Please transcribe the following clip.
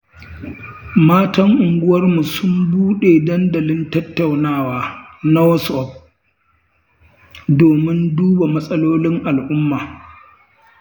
Matan unguwarmu sun buɗe dandalin tattaunawa na Whatsapp, domin duba matsalolin al'umma.